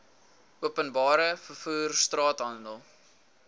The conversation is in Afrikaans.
openbare vervoer straathandel